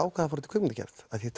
fór út í kvikmyndagerð því